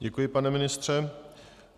Děkuji, pane ministře.